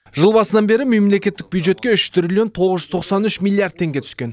жыл басынан бері мемлекеттік бюджетке үш триллион тоғыз жүз тоқсан үш миллиард теңге түскен